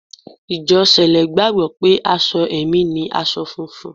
Ìjọ Sẹ̀lẹ́ gbàgbọ́ pé aṣọ ẹ̀mí ni aṣọ funfun